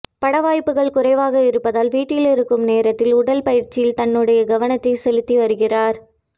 பட வாய்ப்புகள் குறைவாக இருப்பதால் வீட்டில் இருக்கும் நேரத்தில் உடல் பயிற்சியில் தன்னுடைய கவனத்தை செலுத்தி வருகிறார்